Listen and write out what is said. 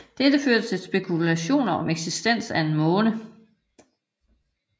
Dette førte til spekulationer om eksistens af en måne